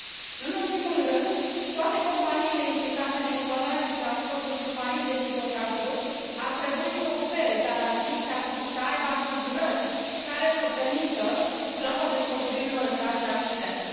Nu în ultimul rând, toate companiile implicate în exploatarea și transportul submarin de hidrocarburi ar trebui să ofere garanții și să aibă asigurări care să permită plata despăgubirilor în caz de accidente.